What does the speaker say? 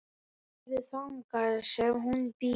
Farðu þangað sem hún býr.